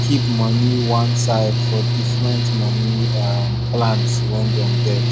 keep money one side for different money um plans wey dem get